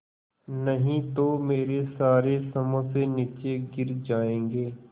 नहीं तो मेरे सारे समोसे नीचे गिर जायेंगे